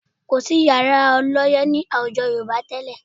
Kò sí yàrá ọlọ́yẹ́ ní àwùjọ Yorùbá tẹ́lẹ̀